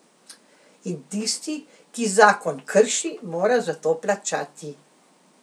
In tisti, ki zakon krši, mora za to plačati.